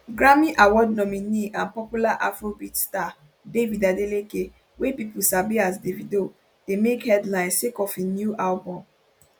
grammy award nominee and popular afrobeats star david adeleke wey pipo sabi as davido dey make headlines sake of im new album